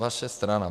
Vaše strana.